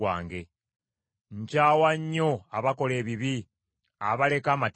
Nkyawa nnyo abakola ebibi, abaleka amateeka go.